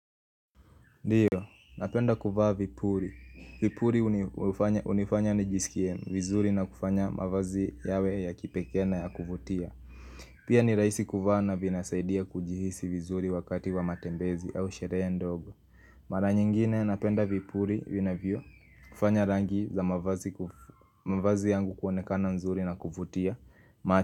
Ndiyo, napenda kuvaa vipuri. Vipuri unifanya ni jisikie vizuri na kufanya mavazi yawe ya kipekee na ya kuvutia. Pia ni raisi kuvaa na vinasaidia kujihisi vizuri wakati wa matembezi au sherehe ndogo. Mara nyingine napenda vipuri vina vyo kufanya rangi za mavazi yangu kuonekana nzuri na kuvutia.